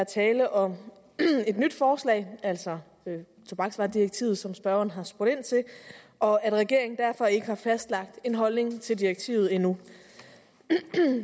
er tale om et nyt forslag altså tobaksvaredirektivet som spørgeren har spurgt ind til og at regeringen derfor ikke har fastlagt en holdning til direktivet endnu